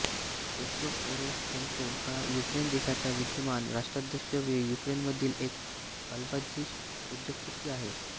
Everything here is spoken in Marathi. पेत्रो पोरोशेन्को हा युक्रेन देशाचा विद्यमान राष्ट्राध्यक्ष व युक्रेनमधील एक अब्जाधीश उद्योगपती आहे